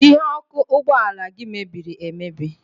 Ihu ọkụ ụgbọala gị mebiri emebi.